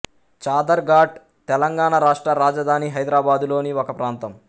చాదర్ ఘాట్ తెలంగాణ రాష్ట్ర రాజధాని హైదరాబాదులోని ఒక ప్రాంతం